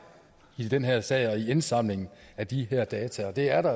i den her sag og i indsamlingen af de her data og det er der